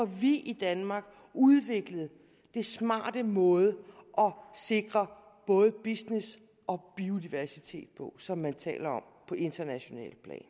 vi i danmark får udviklet den smarte måde at sikre både business og biodiversitet på som man taler om på internationalt plan